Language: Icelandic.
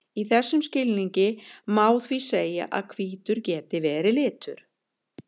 í þessum skilningi má því segja að hvítur geti verið litur